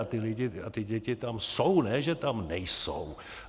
A ty děti tam jsou, ne že tam nejsou.